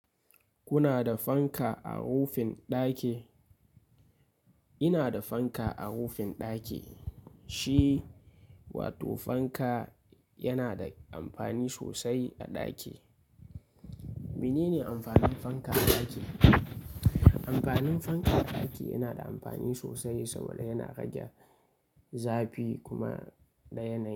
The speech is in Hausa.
Kuna da fanka a rufin ɗaki? Ina da fanka a rufin ɗaki. Shi wato fanka yana da amfani sosai a ɗaki. Mene ne amfanin fanka a ɗaki? Amfanin fanka a ɗaki yana da amfani sosai saboda yana rage zafi kuma da yanayi.